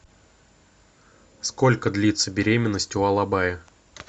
сколько длится беременность у алабая